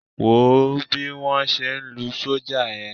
Wò ó bí wọ́n ṣe ń lu sọ́jà yẹn.